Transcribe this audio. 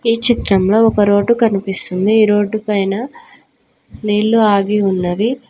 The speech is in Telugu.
ఈ చిత్రంలో ఒక రోడ్డు కనిపిస్తుంది. ఈ రోడ్ పైన నీళ్లు ఆగి ఉన్నవి.